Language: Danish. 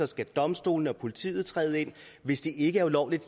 skal domstolene og politiet træde ind hvis det ikke er ulovligt